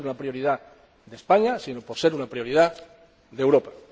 no por ser una prioridad de España, sino por ser una prioridad de Europa.